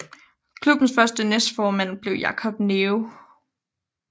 Klubbens første næstformand blev Jacob Neve